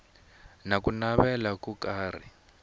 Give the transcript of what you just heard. na ku navela ko karhi